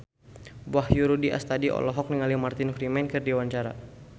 Wahyu Rudi Astadi olohok ningali Martin Freeman keur diwawancara